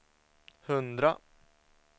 hundra